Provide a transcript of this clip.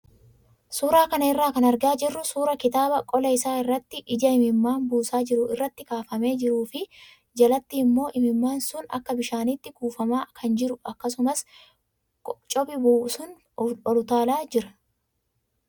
Suuraa kana irraa kan argaa jirru suuraa kitaaba qola isaa irratti ija imimmaan buusaa jiru irratti kaafamee jiruu fi jalatti immoo imimmaan sun akka bishaaniitti kuufamaa kan jiru akkasumas cophi bu'u sun ol utaalaa jira.